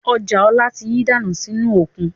Ọjà ọ̀la tí yí dànù sì inú òkun